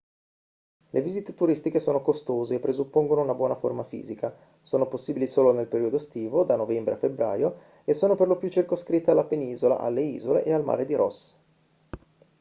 le visite turistiche sono costose e presuppongono una buona forma fisica sono possibili solo nel periodo estivo da novembre a febbraio e sono per lo più circoscritte alla penisola alle isole e al mare di ross